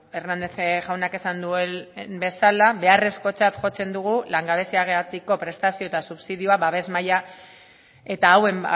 hernández jaunak esan duen bezala beharrekotzat jotzen dugu langabeziagatik prestazio eta subsidioa babes maila eta hauen